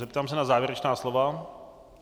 Zeptám se na závěrečná slova.